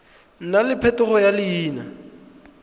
nna le phetogo ya leina